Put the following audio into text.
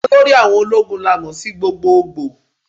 Olórí àwọn ológun la mo sí gbogboogbò.